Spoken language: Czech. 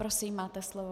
Prosím, máte slovo.